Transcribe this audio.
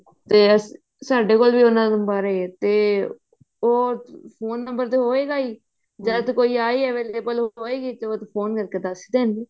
ਤੇ ਸਾਡੇ ਕੋਲ ਵੀ ਉਹਨਾ ਬਾਰੇ ਤੇ ਉਹ phone number ਤੇ ਹੋਇਗਾ ਹੀ ਜਦ ਕੋਈ ਆਈ ਤੇ ਉਹ phone ਕਰਕੇ ਦੱਸਦੇ